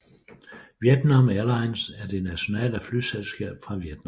Vietnam Airlines er det nationale flyselskab fra Vietnam